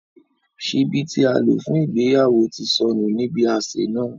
Ṣìbí ti à lo fun ìgbéyàwo ti sọnu ni ibi ạṣe náa.